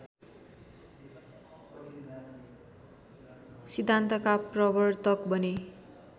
सिद्धान्तका प्रर्वतक बने